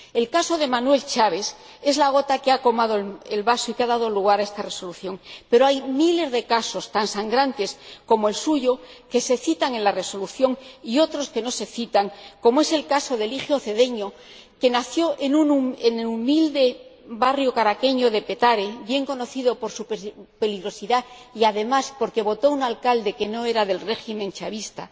El caso de Manuel Rosales es la gota que ha colmado el vaso y que ha dado lugar a esta Resolución, pero hay miles de casos, tan sangrantes como el suyo, que se citan en la Resolución y otros que no se citan, como es el caso de Eligio Cedeño, que nació en el humilde barrio caraqueño de Petare bien conocido por su peligrosidad y porque votó a un alcalde que no era del régimen chavista